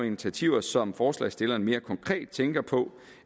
initiativer som forslagsstillerne mere konkret tænker på